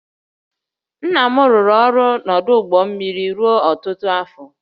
Nna m rụrụ ọrụ n’ọdụ ụgbọ mmiri ruo ọtụtụ afọ